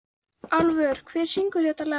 Álfur, hver syngur þetta lag?